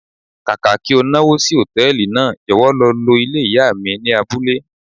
Kàkà kí o náwó sí Hòtẹ́lìì náà, jọ̀wọ́ lọ lo ilé ìyá mi ni abúlé.